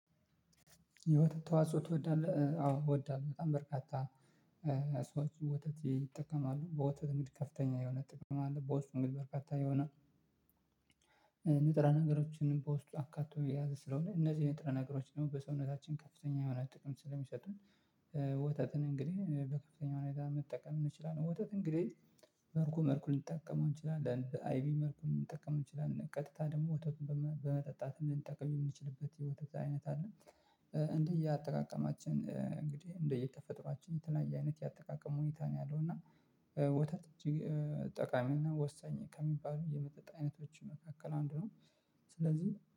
የወተት ተዋጽኦ ትወዳለህ? አዎ እወዳለሁ በጣም በርካታ ሰዎች ወተት ይጠቀማሉ በወተት እንግድ ከፍተኛ የሆነ ጥቅም አለ። በውስጡ እንግዲህ በርካታ የሆነ ንጥራ ነገሮችንም በውስጡ አካቶ የያዘ ስለሆነ እነዚህ ንጥረ ነገሮች ደግሞ በሰውነታችን ከፍተኛ የሆነ ጥቅም ስለሚሰጥን። ወተትን እንግዲህ በከፍተኛ ሁኔታ መጠቀም እንችላለን። ወተት እንግዲህ መርኩ መርኩን እንጠቀመው እንችላለን አይቢ መርኩን እንጠቀም እንችላለን ቀጥታ ደግሞ ወተቱን በመጠጣት እንድንጠቀም የምንችልበት የወተት አይነት አለ። እንዲህ እንደየአጠቃቀማችን እንግዲህ እንደየተፈጥሯችን የተናየ አይነት የአጠቃቀም ሁኔታ ነው ያለው። እና ወተት እጅግ ጠቃሚና ወሳኝ ከሚባሉ የመጠጥ አይነቶች መካከል አንዱ ነው። ስለዚህ